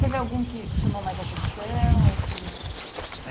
Teve algum que chamou mais atenção? Que. É